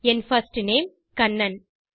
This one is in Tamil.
N first name Kannan